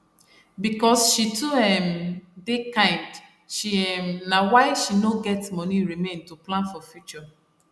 because she too um dey kind she um na why she no dey get money remain to plan for future